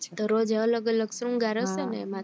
દરોજ અલગ અલગ સંગર હયશે ને એમાં